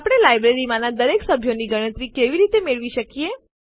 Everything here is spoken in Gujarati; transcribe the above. આપણે લાઈબ્રેરીમાંનાં દરેક સભ્યોની ગણતરી કેવી રીતે મેળવી શકીએ